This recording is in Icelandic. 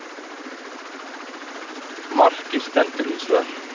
Markið stendur hins vegar